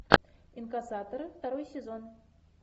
инкассаторы второй сезон